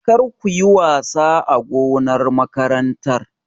Kar kuyi wasa a gonar makarantar!